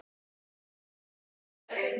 HREYFA MIG!